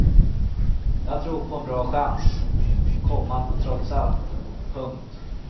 Jag tror på en bra chans, komma trots allt. punkt